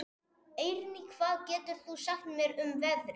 Eirný, hvað geturðu sagt mér um veðrið?